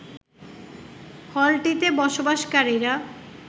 হলটিতে বসবাসকারীরা